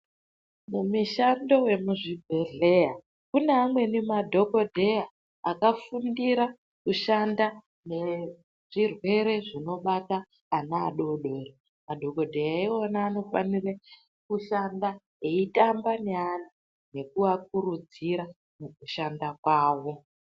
Mumishando yemuzvibhedlera mune amweni madhokodheya akafundira kushanda nezvirwere zvinobata ana adodori. Madhokodheya iwawo anofanha kushanda eitamba neana nekuvakurudzira mukushanda kwavo.